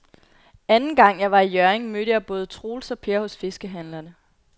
Anden gang jeg var i Hjørring, mødte jeg både Troels og Per hos fiskehandlerne.